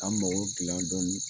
K'an mago gilan dɔni